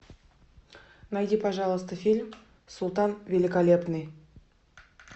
найди пожалуйста фильм султан великолепный